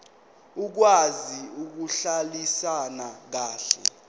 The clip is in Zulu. okwazi ukuhlalisana kahle